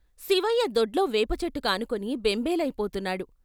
శివయ్య దొడ్లో వేపచెట్టు కానుకుని బెంబేలయిపోతున్నాడు.